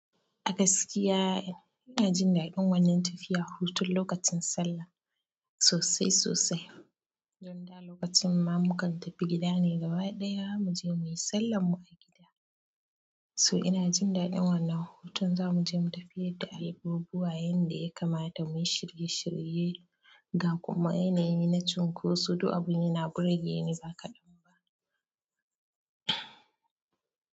A gaskiya ina jin daɗin wannan tafiya hutun lokacin sallah sosai sosai, don da lokacin ma mukan tafi gida ne gaba ɗaya mu je mu yi sallan mu a gida. So ina jin daɗin wannan hutun za mu je mu tafi yadda albubuwa yanda ya kamata mu yi shirye shirye ga kuma yanayi na cunkoso duk abun yana burge ni ba kaɗan ba.